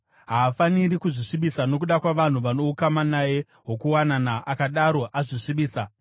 Haafaniri kuzvisvibisa nokuda kwavanhu vano ukama naye hwokuwanana, akadaro azvisvibisa.